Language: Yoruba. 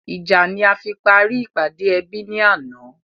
Ìjà ni a fi parí ìpàdé ẹbí ni àná